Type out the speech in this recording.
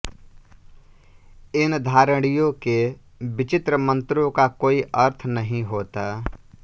इन धारणियों के विचित्र मन्त्रों का कोई अर्थ नहीं होता